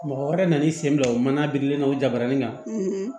Mɔgɔ wɛrɛ nan'i sen bila o mana birilen nɔ jabaranin na